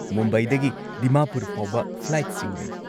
ꯃꯨꯝꯕꯥꯏꯗꯒꯤ ꯗꯤꯃꯥꯄꯨꯔ ꯐꯥꯎꯕ ꯐ꯭ꯂꯥꯏꯠꯁꯤꯡ ꯂꯩ꯫